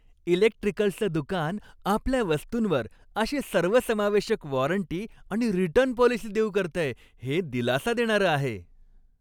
इलेक्ट्रिकल्सचं दुकान आपल्या वस्तूंवर अशी सर्वसमावेशक वॉरंटी आणि रिटर्न पॉलिसी देऊ करतय हे दिलासा देणारं आहे.